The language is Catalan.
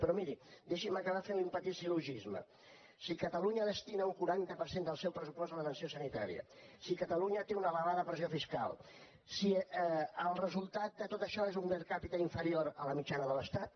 però miri deixi’m acabar fent li un petit sil·logisme si catalunya destina un quaranta per cent del seu pressupost a l’atenció sanitària si catalunya té una elevada pressió fiscal si el resultat de tot això és un per capita inferior a la mitjana de l’estat